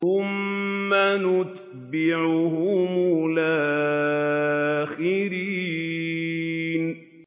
ثُمَّ نُتْبِعُهُمُ الْآخِرِينَ